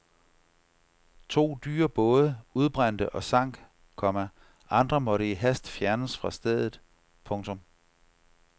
To dyre både udbrændte og sank, komma andre måtte i hast fjernes fra stedet. punktum